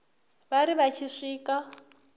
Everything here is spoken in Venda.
vha ri vha tshi swika